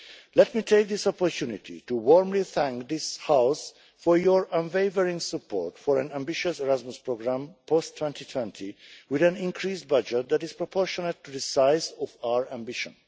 area. Let me take this opportunity to warmly thank this House for your unwavering support for an ambitious Erasmus programme post 2020, with an increased budget that is proportionate to the size of our ambition.